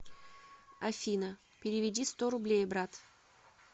афина переведи сто рублей брат